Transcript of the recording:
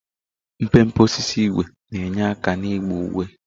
Mpempe osisi ígwè na-enye aka n'ịgba uwe.